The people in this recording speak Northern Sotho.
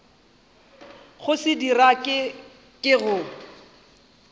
go se dira ke go